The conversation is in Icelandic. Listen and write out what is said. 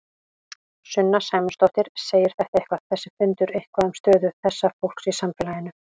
Sunna Sæmundsdóttir: Segir þetta eitthvað, þessi fundur eitthvað um stöðu þessa fólks í samfélaginu?